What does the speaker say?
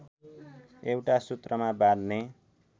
एउटा सूत्रमा बाँध्ने